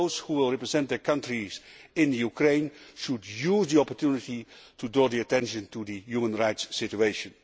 those who represent their countries in Ukraine should use the opportunity to draw the attention to the human rights situation.